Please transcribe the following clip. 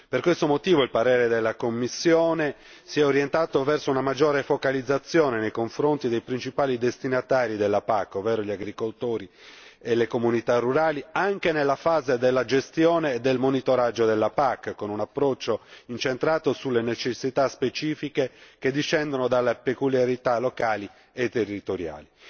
Per questo motivo, il parere della commissione si è orientato verso una maggiore focalizzazione nei confronti dei principali destinatari della PAC, ovvero gli agricoltori e le comunità rurali, anche nella fase della gestione e del monitoraggio della PAC, con un approccio incentrato sulle necessità specifiche che discendono dalle peculiarità locali e territoriali.